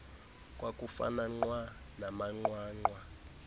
kwakufana nqwa namanqwanqwa